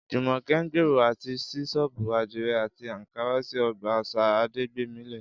Jùmọ̀kẹ́ ń gbèrò àti ṣí ṣọ́ọ̀bù àdìrẹ àti ààkárá sí ọgbà àṣà Adégbémilé